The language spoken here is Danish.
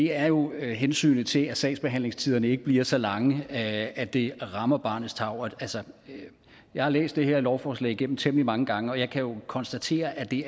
er jo hensynet til at sagsbehandlingstiderne ikke bliver så lange at at det rammer barnets tarv jeg har læst det her lovforslag igennem temmelig mange gange og jeg kan konstatere at det